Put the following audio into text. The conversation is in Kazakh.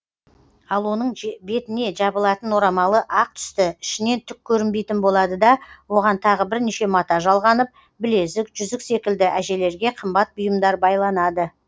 ал оның бетіне жабылатын орамалы ақ түсті ішінен түк көрінбейтін болады да оған тағы бірнеше мата жалғанып білезік жүзік секілді әжелерге қымбат бұйымдар байланады